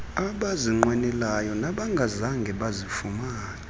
abazinqwenelayo nabangazange bazifumane